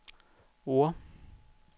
Oure